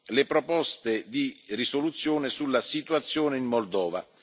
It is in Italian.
le proposte di risoluzione sulla Situazione in Moldova.